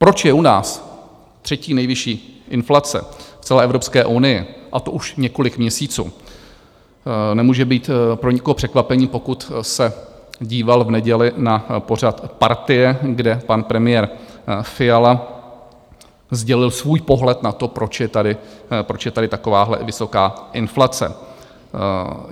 Proč je u nás třetí nejvyšší inflace v celé Evropské unii, a to už několik měsíců, nemůže být pro nikoho překvapením, pokud se díval v neděli na pořad Partie, kde pan premiér Fiala sdělil svůj pohled na to, proč je tady takováhle vysoká inflace.